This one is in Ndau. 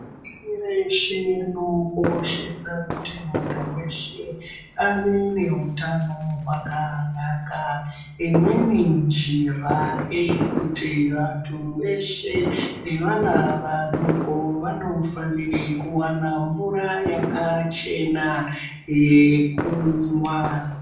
Pashi reshe rinokoshese kuti muntu veshe ave nehutano hwakanaka. Imweni njira neyekuti vantu veshe nevana vadoko vanofanire kuvana mvura yakachena yekumwa.